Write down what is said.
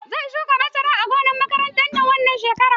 Zan shuka masara a gonar makaranta wannan shekarar.